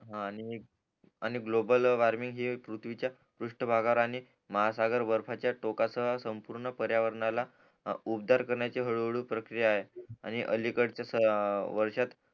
हा आणि global warming ही पृथ्वीच्या पृष्ठ भागावर आणि महासागर बर्फाच्या टोकासह संपूर्ण पर्यावरणाला उपदार करण्याची हळू हळू प्रक्रिया आहे आणि अलिकलच्या वर्षात